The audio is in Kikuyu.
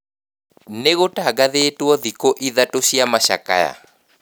Nĩgũtangathĩtwo thĩkũ ithatũ cia macakaya